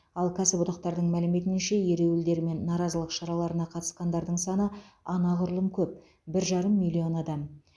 ал кәсіподақтардың мәліметінше ереуілдер мен наразылық шараларына қатысқандардың саны анағұрлым көп бір жарым миллион адам